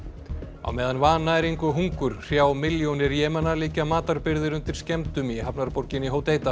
á meðan vannæring og hungur hrjá milljónir liggja matarbirgðir undir skemmdum í hafnarborginni